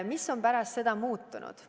Mis on pärast seda muutunud?